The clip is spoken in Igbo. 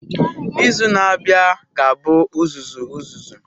Izu na-abịa ga-abụ uzuzu uzuzu.